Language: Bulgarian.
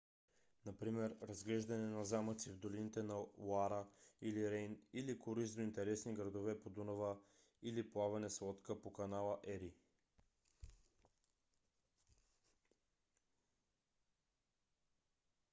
например разглеждане на замъци в долините на лоара или рейн или круиз до интересни градове по дунава или плаване с лодка по канала ери